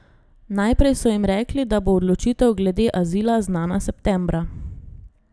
Najprej so jim rekli, da bo odločitev glede azila znana septembra.